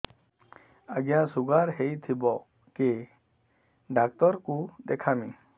ଆଜ୍ଞା ଶୁଗାର ହେଇଥିବ କେ ଡାକ୍ତର କୁ ଦେଖାମି